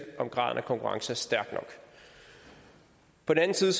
om graden af konkurrence er stærk nok på den anden side